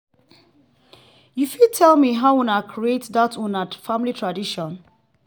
you fit tell me how una create that una family tradition?